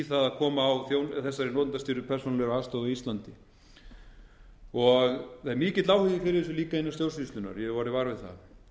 að koma á þessari notendastýrð persónulegri aðstoð á íslandi það er líka mikill áhugi á þessu innan stjórnsýslunnar ég hef orðið var við það þannig að